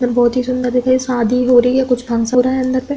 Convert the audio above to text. बोहोत ही सुन्दर दिख रही। शादी हो रही है। कुछ फंक्सन हो रहा है अन्दर पे ।